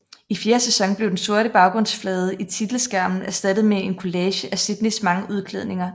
I fjerde sæson blev den sorte baggrundsflade i titelskærmen erstattet med en kollage af Sydneys mange udklædninger